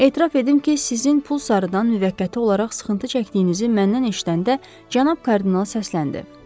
Etiraf edim ki, sizin pul sarıdan müvəqqəti olaraq sıxıntı çəkdiyinizi məndən eşidəndə cənab kardinal səsləndi.